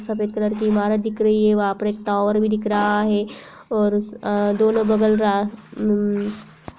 सफेद कलर कि इमारत दिख रही है। वहाँ पर एक टावर भी दिख रहा है और दोनों बगल रा मम्म --